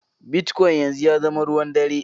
Bitcoin yanzu ya zama ruwan ɗare.